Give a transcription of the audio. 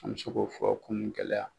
An bi se k'o fɔ kunu gɛlɛya.